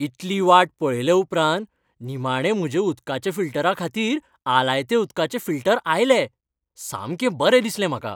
इतली वाट पळयले उपरांत निमाणें म्हज्या उदकाच्या फिल्टराखातीर आलायते उदकाचे फिल्टर आयले. सामकें बरें दिसलें म्हाका.